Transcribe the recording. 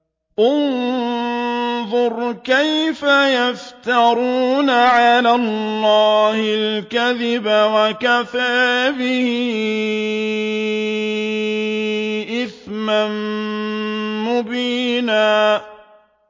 انظُرْ كَيْفَ يَفْتَرُونَ عَلَى اللَّهِ الْكَذِبَ ۖ وَكَفَىٰ بِهِ إِثْمًا مُّبِينًا